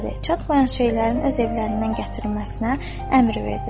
Çatmayan şeylərin öz evlərindən gətirilməsinə əmr verdi.